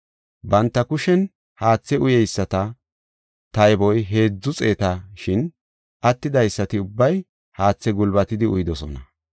Banta kushen haathe uyeyisata tayboy heedzu xeeta; shin attidaysati ubbay haathe gulbatidi uyidosona.